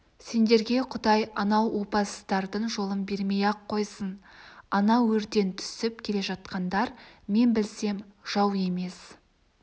сендерге құдай анау опасыздардың жолын бермей-ақ қойсын ана өрден түсіп келе жатқандар мен білсем жау емес